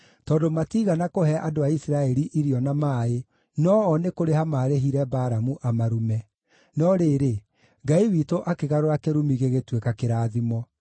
tondũ matiigana kũhe andũ a Isiraeli irio na maaĩ; no-o nĩ kũrĩha maarĩhire Balamu amarume. (No rĩrĩ, Ngai witũ akĩgarũra kĩrumi gĩgĩtuĩka kĩrathimo.)